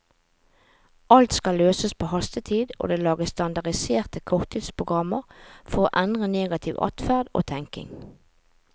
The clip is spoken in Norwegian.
Alt skal løses på hastetid, og det lages standardiserte korttidsprogrammer for å endre negativ adferd og tenkning.